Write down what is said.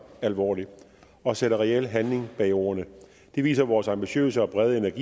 alvorligt og sætter reel handling bag ordene det viser vores ambitiøse og brede